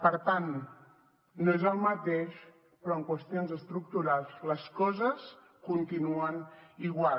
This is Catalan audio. per tant no és el mateix però en qüestions estructurals les coses continuen igual